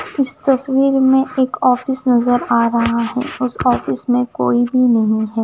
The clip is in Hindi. इस तस्वीर में एक ऑफिस नजर आ रहा है उस ऑफिस में कोई भी नहीं है।